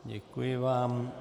Děkuji vám.